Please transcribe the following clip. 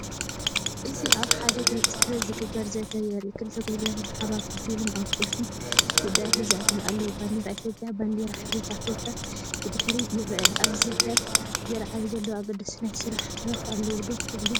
እዚ ኣብ ሓደ ቤት ጽሕፈት ዝግበር ዘተ የርኢ። ክልተ ጉጅለታት ብሓባር ኮፍ ኢሎም ኣብ ቁልፊ ጉዳያት ይዛተዩ ኣለዉ። ባንዴራ ኢትዮጵያን ባንዴራ ሕብረት ኣፍሪቃን ብድሕሪት ይርአ። ኣብዚ ዘተ ዝለዓሉ ዘለዉ ኣገደስቲ ናይ ስራሕ ሕቶታት ኣለዉ ዶ ትብሉ?